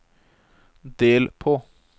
del på